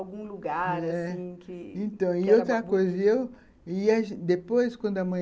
Algum lugar, assim, que... Então, e outra coisa, eu ia depois, quando a mãe...